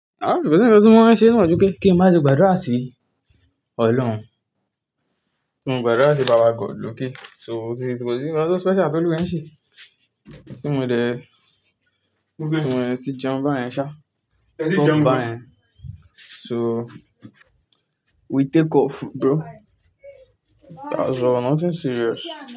Àárín gbogbo nìkan tí wọ́n ṣe nù ojú kí ẹ má ṣe gbàdúrà sí Ọlọ́run, kí má ṣe gbàdúrà sí Baba God lókè. So tí kò sí ohun kan tó special tó Olúwa ń ṣe, kí n mo dé, kí n mo ẹ ti jẹun bá yẹn ṣá, kí n mo bá yẹn. So we take off bro, that's all, nothing serious.